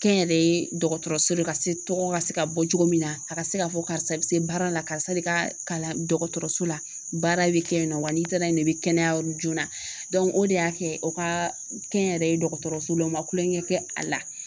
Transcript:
Kɛnyɛrɛye dɔgɔtɔrɔso de ka se tɔgɔ ka se ka bɔ cogo min na a ka se ka fɔ karisa i bɛ se baara la karisa de ka kalan dɔgɔtɔrɔso la baara bɛ kɛ yen nɔ wa n'i taara yen nɔ i bɛ kɛnɛya yɔrɔ joona o de y'a kɛ o ka kɛnyɛrɛye dɔgɔtɔrɔso la o ma kulonkɛ kɛ a la